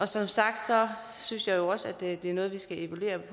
som sagt synes jeg jo også det er noget vi skal evaluere